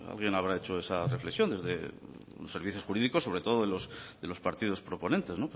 alguien habrá hecho esa reflexión desde servicios jurídicos sobre todo de los partidos proponentes